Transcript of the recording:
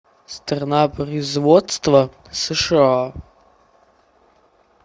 страна производства сша